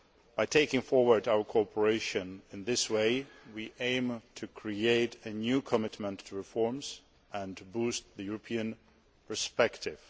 By taking forward our cooperation in this way, we aim to create a new commitment to reforms and to boost the country's European perspective.